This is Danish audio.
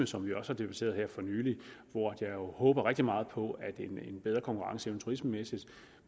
som vi også har debatteret her for nylig og hvor jeg håber rigtig meget på at en bedre konkurrenceevne turismemæssigt